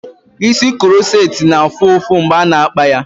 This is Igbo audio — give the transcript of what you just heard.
Isi kuroceti na-afụ ụfụ mgbe ana-akpa ya.